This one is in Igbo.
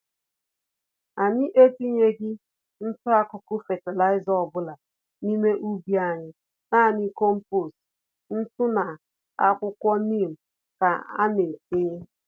Anyị etinyeghi ntụ-akụkụ fertilizer ọbula n'ime ubi anyị, nanị kompost, ntụ na akwuwko neem ka ana-etinye.